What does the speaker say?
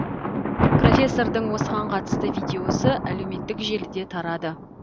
профессордың осыған қатысты видеосы әлеуметтік желіде тарады